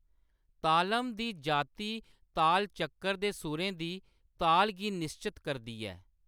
तालम दी जाति ताल चक्कर दे सुरें दी ताल गी निश्चत करदी ऐ।